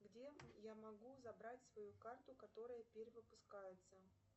где я могу забрать свою карту которая перевыпускается